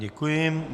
Děkuji.